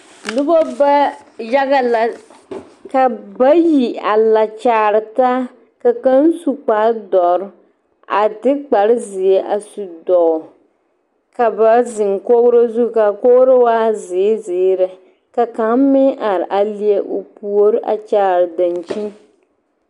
Noba ba yaga la ka bayi a la kyaare taa ka kaŋ su kpare dɔre a de kparezeɛ a su dɔgle ka ba zeŋ kogro zu ka kogro waa zeere zeere ka kaŋ meŋ are a leɛ o puori a kyaare dankyini.